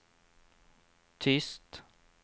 tyst